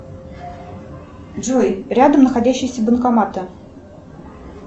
джой рядом находящиеся банкоматы